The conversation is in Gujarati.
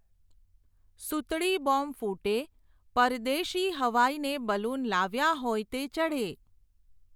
સૂતળી બૉમ્બ ફૂટે, પરદેશી હવાઈ ને બલૂન લાવ્યા હોય તે ચઢે.